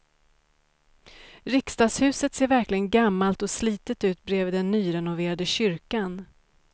Riksdagshuset ser verkligen gammalt och slitet ut bredvid den nyrenoverade kyrkan.